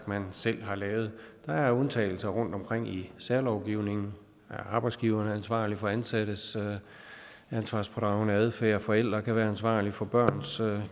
man selv har lavet der er undtagelser rundtomkring i særlovgivningen arbejdsgiveren er ansvarlig for ansattes ansvarspådragende adfærd forældre kan være ansvarlige for børns